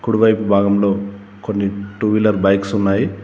కుడి వైపు భాగంలో కొన్ని టూవీలర్ బైక్స్ ఉన్నాయి.